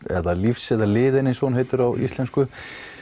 eða lífs eða liðinn eins og hún heitir á íslensku